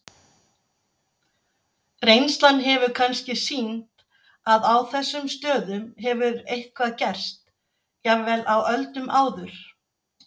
Reynslan hefur kannski sýnt að á þessum stöðum hefur eitthvað gerst, jafnvel á öldum áður.